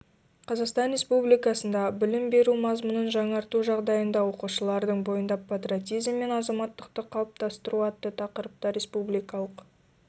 қазақстан республикасындағы білім беру мазмұнын жаңарту жағдайында оқушылардың бойында патриотизм мен азаматтықты қалыптастыру атты тақырыпта республикалық